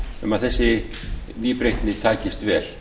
um að þessi nýbreytni takist vel